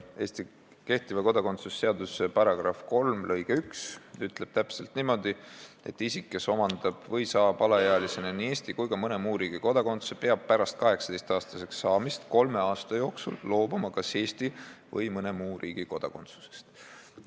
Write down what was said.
Eesti kehtiva kodakondsuse seaduse § 3 lõige 1 ütleb täpselt niimoodi: "Isik, kes omandab või saab alaealisena nii Eesti kui ka mõne muu riigi kodakondsuse, peab pärast 18-aastaseks saamist kolme aasta jooksul loobuma kas Eesti või mõne muu riigi kodakondsusest.